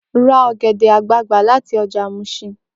Ra ọ̀gẹ̀dẹ̀ àgbagbà láti ọjà Muṣin!